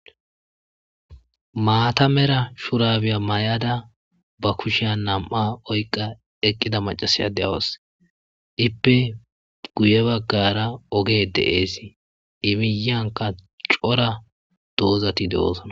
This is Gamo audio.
Maata Mera shurabe mayada ba kushiyan maata oyqa utida macashiya de'awusi. Ippe guye bagara ogey de'es I miyan qas cora doozati de'osona